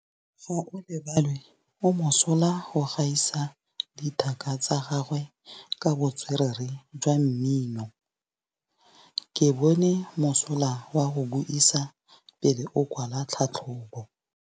Gaolebalwe o mosola go gaisa dithaka tsa gagwe ka botswerere jwa mmino. Ke bone mosola wa go buisa pele o kwala tlhatlhobô.